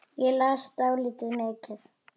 Ég las dálítið mikið.